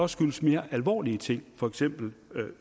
skyldes mere alvorlige ting for eksempel